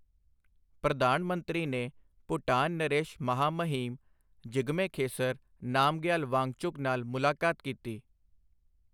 ਪ੍ਰਧਾਨ ਮੰਤਰੀ ਨੇ ਭੂਟਾਨ ਨਰੇਸ਼ ਮਹਾਮਹਿਮ ਜਿਗਮੇ ਖੇਸਰ ਨਾਮਗਯਾਲ ਵਾਂਗਚੁਕ ਨਾਲ ਮੁਲਾਕਾਤ ਕੀਤੀ